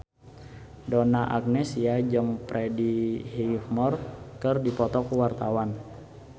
Donna Agnesia jeung Freddie Highmore keur dipoto ku wartawan